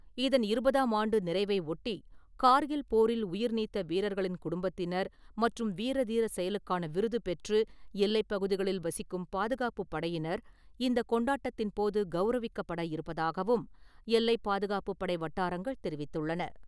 இதன் இருபதாம் ஆண்டு நிறைவை ஒட்டி கார்கில் போரில் உயிர் நீத்த வீரர்களின் குடும்பத்தினர் மற்றும் வீர, தீர செயலுக்கான விருது பெற்று எல்லைப் பகுதிகளில் வசிக்கும் பாதுகாப்புப் படையினர் இந்த கொண்டாட்டத்தின்போது கௌரவிக்கப்பட இருப்பதாகவும் எல்லைப் பாதுகாப்புப் படை வட்டாரங்கள் தெரிவித்துள்ளன.